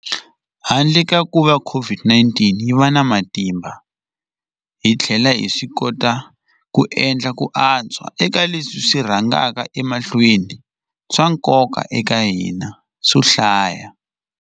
Handle ka kuva COVID-19 yi va na matimba, hi tlhele hi swikota ku endla ku antswa eka leswi swi rhangaka emahlweni swa nkoka eka hina swo hlaya.